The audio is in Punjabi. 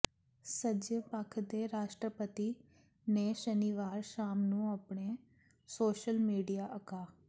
ਸੱਜੇ ਪੱਖ ਦੇ ਰਾਸ਼ਟਰਪਤੀ ਨੇ ਸ਼ਨੀਵਾਰ ਸ਼ਾਮ ਨੂੰ ਆਪਣੇ ਸੋਸ਼ਲ ਮੀਡੀਆ ਅਕਾ